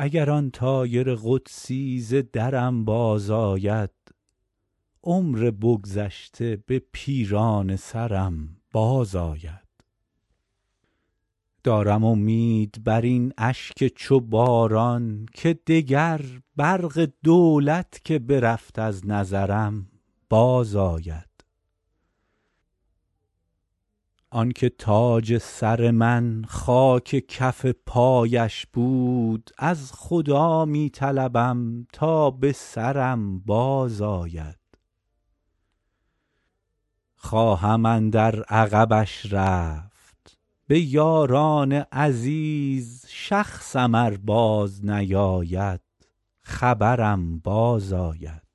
اگر آن طایر قدسی ز درم بازآید عمر بگذشته به پیرانه سرم بازآید دارم امید بر این اشک چو باران که دگر برق دولت که برفت از نظرم بازآید آن که تاج سر من خاک کف پایش بود از خدا می طلبم تا به سرم بازآید خواهم اندر عقبش رفت به یاران عزیز شخصم ار بازنیاید خبرم بازآید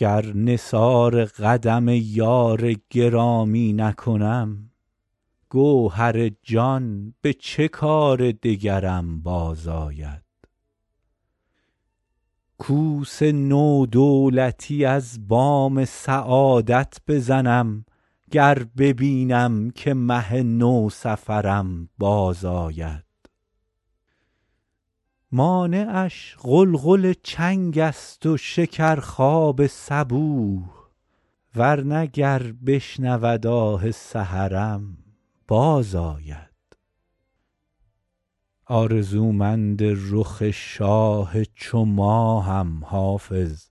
گر نثار قدم یار گرامی نکنم گوهر جان به چه کار دگرم بازآید کوس نو دولتی از بام سعادت بزنم گر ببینم که مه نوسفرم بازآید مانعش غلغل چنگ است و شکرخواب صبوح ور نه گر بشنود آه سحرم بازآید آرزومند رخ شاه چو ماهم حافظ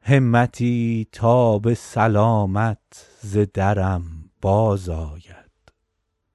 همتی تا به سلامت ز درم بازآید